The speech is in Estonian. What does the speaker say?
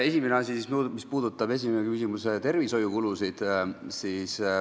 Esimene küsimus, mis puudutab tervishoiukulutusi.